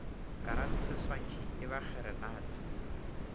karate seswantšhi e ba kgeranata